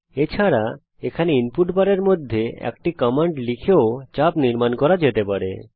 এছাড়া এখানে ইনপুট বারের মধ্যে একটি কমান্ড লিখেও চাপ নির্মাণ করা যেতে পারে